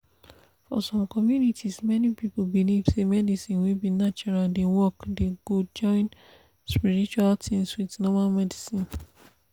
for some communities many people believe say medicine wey be natural dey work dey go join spiritual things with normal medicine